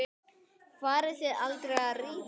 Farið þið aldrei að rífast?